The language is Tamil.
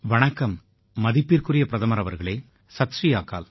வணக்கம் மதிப்பிற்குரிய பிரதமர் அவர்களே சத் ஸ்ரீ அகால்